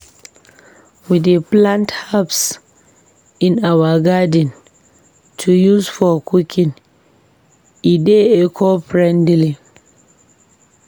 We dey plant herbs in our garden to use for cooking, e dey eco-friendly.